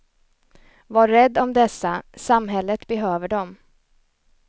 Var rädd om dessa, samhället behöver dem.